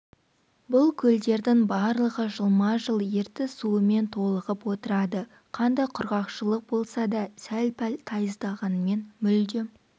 бұл көлдердің барлығы жылма-жыл ертіс суымен толығып отырады қандай құрғақшылық болса да сәл-пәл тайыздағанымен мүлдем